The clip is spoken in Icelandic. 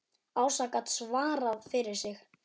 Ása gat svarað fyrir sig.